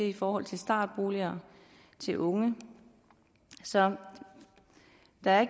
i forhold til startboliger til unge så der er